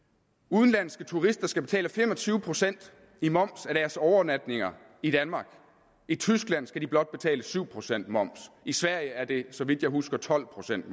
udenlandske turister skal betale fem og tyve procent i moms af deres overnatninger i danmark i tyskland skal de blot betale syv procent moms i sverige er det så vidt jeg husker tolv procent